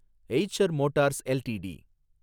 Eicher Motors LTD